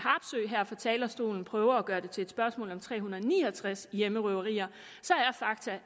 her fra talerstolen prøver at gøre det til et spørgsmål om tre hundrede og ni og tres hjemmerøverier